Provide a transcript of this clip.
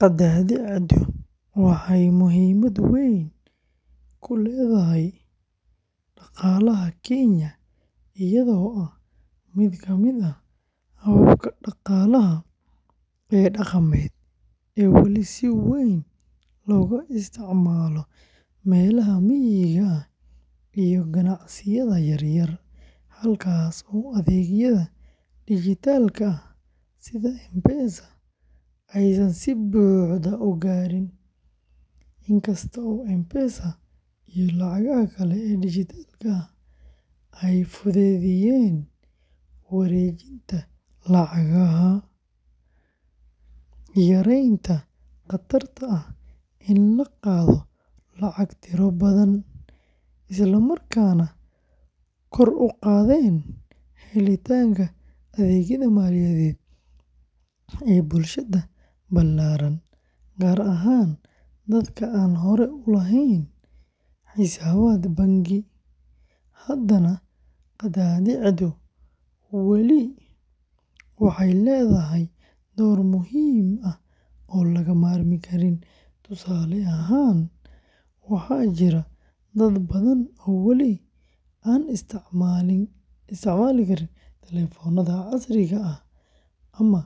Qadaadiicdu waxay muhiimad weyn ku leedahay dhaqaalaha Kenya iyadoo ah mid kamid ah hababka dhaqaalaha ee dhaqameed ee weli si weyn looga isticmaalo meelaha miyiga ah iyo ganacsiyada yaryar, halkaas oo adeegyada dijitaalka ah sida M-Pesa aysan si buuxda u gaarin. Inkasta oo M-Pesa iyo lacagaha kale ee dijitaalka ahi ay fududeeyeen wareejinta lacagaha, yareeyeen khatarta ah in la qaado lacago tiro badan, islamarkaana kor u qaadeen helitaanka adeegyada maaliyadeed ee bulshada ballaaran gaar ahaan dadka aan hore u lahayn xisaabaad bangi, haddana qadaadiicdu weli waxay leedahay door muhiim ah oo laga maarmi karin. Tusaale ahaan, waxaa jira dad badan oo wali aan isticmaali karin taleefannada casriga ah ama